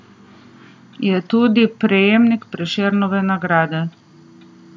Je tudi prejemnik Prešernove nagrade.